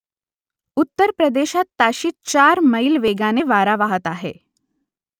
उत्तर प्रदेशात ताशी चार मैल वेगाने वारा वाहत आहे